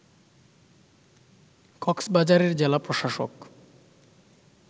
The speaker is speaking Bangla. কক্সবাজারের জেলা প্রশাসক